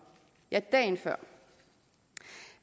ja dagen før